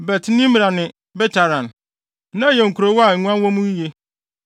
Bet-Nimra ne Betharan. Na ɛyɛ nkurow a nguan wɔ mu yiye.